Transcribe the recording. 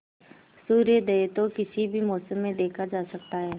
सूर्योदय तो किसी भी मौसम में देखा जा सकता है